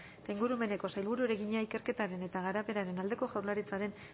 eta ingurumeneko sailburuari egina ikerketaren eta garapenaren aldeko jaurlaritzaren